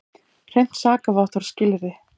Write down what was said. Hreint sakavottorð skilyrði.